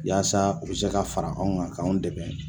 Yaasa u bɛ se ka fara anw kan k'anw dɛmɛ.